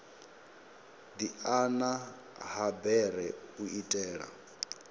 diana ha bere u itela